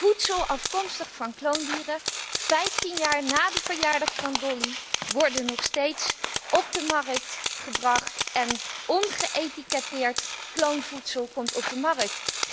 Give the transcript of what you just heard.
Voedsel afkomstig van kloondieren, 15 jaar na de verjaardag van Dolly, wordt nog steeds op de markt gebracht en ongeëtiketteerd kloonvoedsel komt op de markt.